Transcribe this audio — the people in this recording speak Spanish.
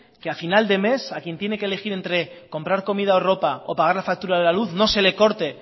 que a final de mes a quien tiene que elegir entre comprar comida o ropa o pagar la factura de la luz no se le corte